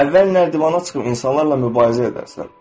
Əvvəl nərdivana çıxıb insanlarla mübarizə edərsən.